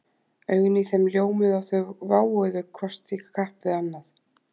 Augun í þeim ljómuðu og þau váuðu hvort í kapp við annað